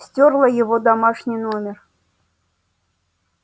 стёрла его домашний номер